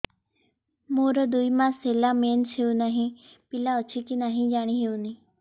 ମୋର ଦୁଇ ମାସ ହେଲା ମେନ୍ସେସ ହୋଇ ନାହିଁ ପିଲା ଅଛି କି ନାହିଁ ଜାଣି ହେଉନି